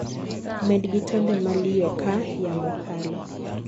med gi tonde maliyo kaa yamo kalo